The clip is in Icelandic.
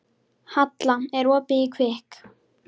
Halla, er opið í Kvikk?